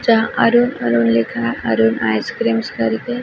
जहाँ अरुण अरुण लिखा है अरुण आइसक्रीम्स कर के --